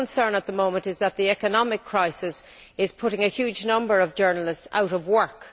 My concern at the moment is that the economic crisis is putting a huge number of journalists out of work.